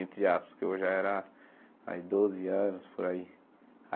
Entre aspas, porque eu já era aí doze anos, por aí.